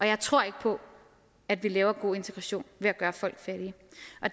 jeg tror ikke på at vi laver god integration ved at gøre folk fattige